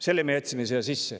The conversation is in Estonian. Selle me jätsime siia sisse.